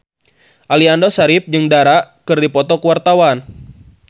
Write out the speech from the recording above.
Aliando Syarif jeung Dara keur dipoto ku wartawan